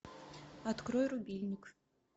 открой рубильник